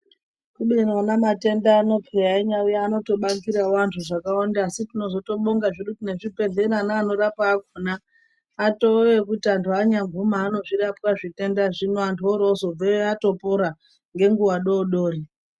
Kubeni ona matenda ano peya einyaauya anotobatsirawo antu zvakawanda. Asi tinozotobonga zvedu ngezvibhehlera neanonyaarapa akona atoo ekuti anhu anyaguma anozvirapwa zvitendazvo, oorozobveyo atopora ngenguva doodori.